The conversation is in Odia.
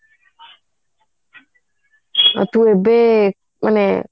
ମତେ ଏବେ ମାନେ